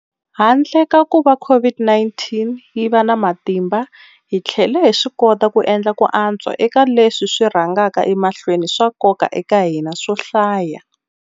Handle ka kuva COVID-19 yi va na matimba, hi tlhele hi swikota ku endla ku antswa eka leswi swi rhangaka emahlweni swa nkoka eka hina swo hlaya.